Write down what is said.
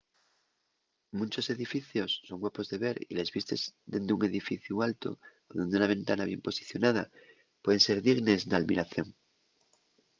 munchos edificios son guapos de ver y les vistes dende un edificu altu o dende una ventana bien posicionada pueden ser dignes d’almiración